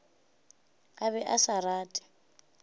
a be a sa rate